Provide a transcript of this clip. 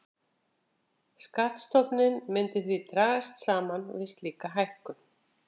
Skattstofninn myndi því dragast saman við slíka hækkun.